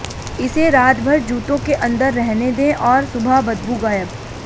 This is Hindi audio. इसे रातभर जूतों के अंदर रहने दें और सुबह बदबू गायब